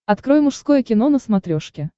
открой мужское кино на смотрешке